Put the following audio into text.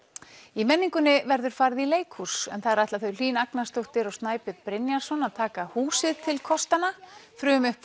í menningunni verður farið í leikhús en þar ætla þau Hlín Agnarsdóttir og Snæbjörn Brynjarsson að taka húsið til kostanna